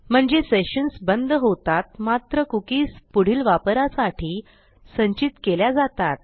म्हणजे सेशन्स बंद होतात मात्र कुकीज पुढील वापरासाठी संचित केल्या जातात